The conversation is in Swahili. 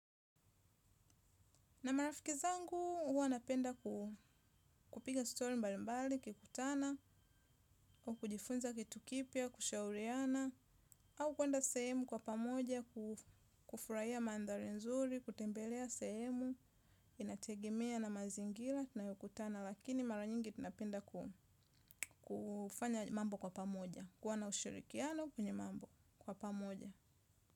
Na marafiki zangu, huwa napenda kupiga story mbali mbali, kikutana, au kujifunza kitu kipya, kushauriana, au kuenda sehemu kwa pamoja, kufuraiya mandhari nzuri, kutembelea sehemu, inategemea na mazingira, tunayokutana, lakini mara nyingi tunapenda kufanya mambo kwa pamoja, kuwa na ushirikiano kwenye mambo kwa pamoja.